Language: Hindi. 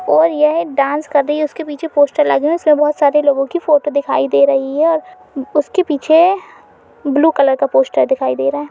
और यह एक डांस कर रही है उसके पीछे पोस्टर लगे हुए है उसमे बहुत सारे लोगो की फोटो दिखाई दे रही है और उसके पीछे ब्लू कलर का पोस्टर दिखाई दे रहा है।